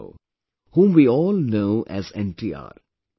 Rama Rao, whom we all know as NTR